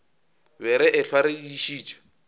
be re ehlwa re dišitše